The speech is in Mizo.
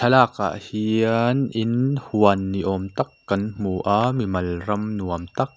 thlalak ah hiannn in huan ni awm tak kan hmu a mimal ram nuam tak--